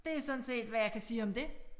Det sådan set hvad jeg kan sige om det